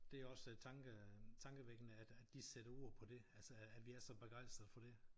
Det også tanke øh tankevækkende at at de sætter ord på det altså at vi er så begrænsede for det